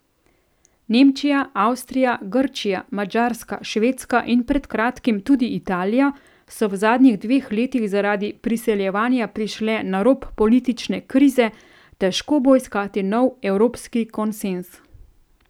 Nemčija, Avstrija, Grčija, Madžarska, Švedska in pred kratkim tudi Italija so v zadnjih dveh letih zaradi priseljevanja prišle na rob politične krize, težko bo iskati nov evropski konsenz.